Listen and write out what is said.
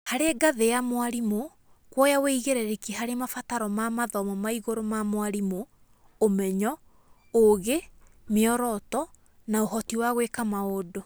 Harĩ ngathĩ ya mwarimũ: kuoya wĩigĩrĩrĩki harĩ mabataro ma mathomo ma igũrũ ma mwarimũ, ũmenyo, ũũgi, mĩoroto, na ũhoti wa gwĩka maũndũ